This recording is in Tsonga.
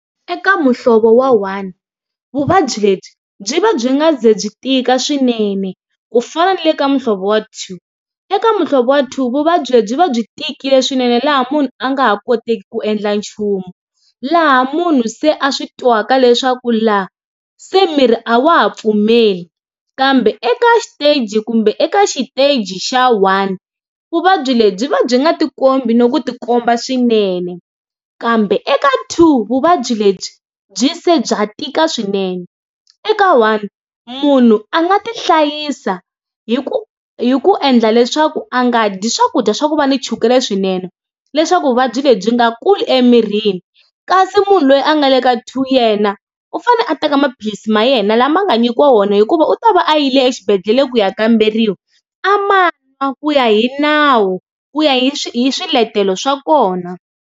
Eka muhlovo wa one vuvabyi lebyi byi va byi nga ze byi tika swinene ku fana na le ka muhlovo wa two, eka muhlovo wa two vuvabyi lebyi byi va byi tikile swinene laha munhu a nga ha koteki ku endla nchumu, laha munhu se a swi twaka leswaku laha se miri a wa ha pfumeli kambe eka xiteji kumbe eka xiteji xa one vuvabyi lebyi byi va byi nga tikombi ni ku tikomba swinene kambe eka two vuvabyi lebyi byi se bya tika swinene eka one munhu a nga ti hlayisa hi ku hi ku endla leswaku a nga dyi swakudya swa ku va ni chukele swinene leswaku vuvabyi lebyi nga kuli emirini kasi munhu loyi a nga le ka two yena u fanele a teka maphilisi ma yena lama nga nyikiwa wona hikuva u ta va a yi le exibedhlele ku ya kamberiwa a ma nwa ku ya hi nawu ku ya hi swiletelo swa kona.